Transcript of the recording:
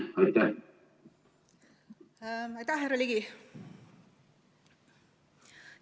Aitäh, härra Ligi!